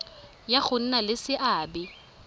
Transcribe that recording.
ya go nna le seabe